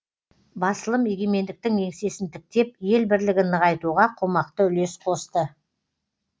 басылым егемендіктің еңсесін тіктеп ел бірлігін нығайтуға қомақты үлес қосты